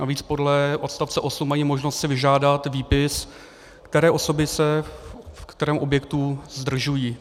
Navíc podle odst. 8 mají možnost si vyžádat výpis, které osoby se v kterém objektu zdržují.